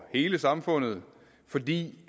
hele samfundet fordi